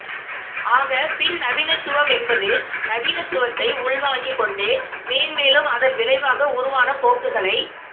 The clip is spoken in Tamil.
ஆக பின்நவீனத்துவமென்பது நவீனத்துவத்தை உள்வாங்கிக் கொண்டே மேன்மேலும் அதன் விளைவாக உருவான போக்குகளை